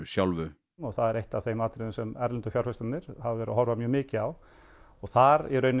sjálfu og það er eitt af þeim atriðum sem erlendu fjárfestarnir hafa verið að horfa mjög mikið á og þar